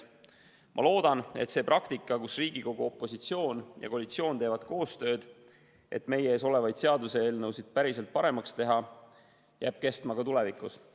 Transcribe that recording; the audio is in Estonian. Ma loodan, et see praktika, et Riigikogu opositsioon ja koalitsioon teevad koostööd, et meie ees olevaid seaduseelnõusid päriselt paremaks teha, jääb kestma ka tulevikus.